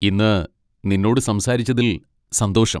ഇന്ന് നിന്നോട് സംസാരിച്ചതിൽ സന്തോഷം.